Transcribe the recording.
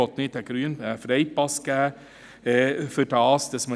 Ich möchte keinen Freipass geben.